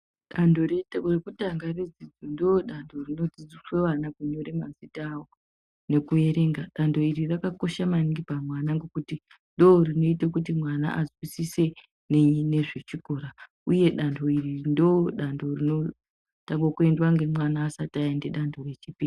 Danho rekutanga redzidzo ndoodanho rinofundiswa ana kunyora mazita awo nekuerenga, danho iri rakakosha maningi pamwana ngekuti ndorinoita kuti mwana azwisise ngezvechikora uye danho iri ndorinotanga kuendwa ngemwana asati aenda danho rechipiri.